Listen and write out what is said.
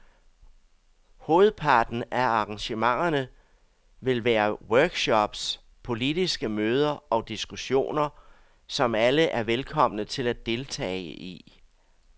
Hovedparten af arrangementerne vil være workshops, politiske møder og diskussioner, som alle er velkomne til at deltage i.